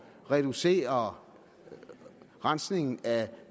at reducere rensningen af